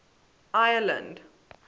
ireland